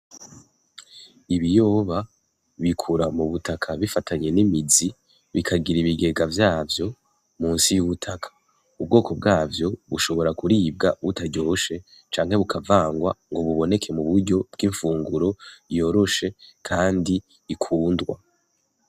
Ibiyoba bikura mubutaka bifatanye n'imizi, bikagira ibigega vyavyo musi y'ubutaka, ubwoko bwavyo bushobora kuribwa butaryoshe canke bukavangwa ngo buboneke muburyo bw'imfunguro yoroshe kandi ikundwa.